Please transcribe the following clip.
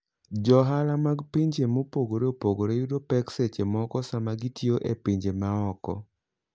Johala mag pinje mopogore opogore yudo pek seche moko sama gitiyo e pinje maoko.